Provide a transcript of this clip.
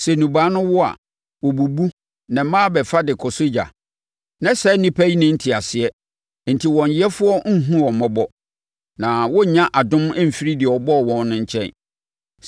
Sɛ nnubaa no wo a, wɔbubu na mmaa bɛfa de kɔsɔ ogya. Na saa nnipa yi nni nteaseɛ enti wɔn yɛfoɔ nhunu wɔn mmɔbɔ, na wɔnnya adom mfiri deɛ ɔbɔɔ wɔn no nkyɛn.